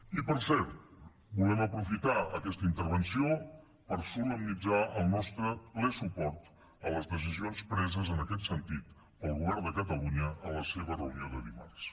i per cert volem aprofitar aquesta intervenció per solemnitzar el nostre ple suport a les decisions preses en aquest sentit pel govern de catalunya en la seva reunió de dimarts